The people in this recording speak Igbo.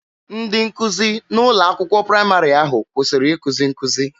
Ndị nkụzi n'ụlọ akwụkwọ praịmarị ahụ kwụsịrị ikuzi nkuzi.